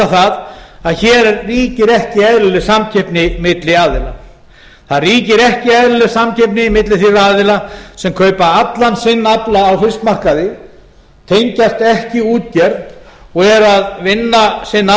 það að hér ríkir ekki eðlileg samkeppni milli aðila það ríkir ekki eðlileg samkeppni milli þeirra aðilar sem kaupa allan sinn afla á fiskmarkaði tengjast ekki útgerð og eru að vinna sinn